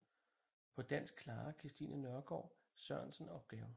På dansk klarer Kristine Nørgaard Sørensen opgaven